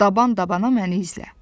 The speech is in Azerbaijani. Daban-dabana məni izlə.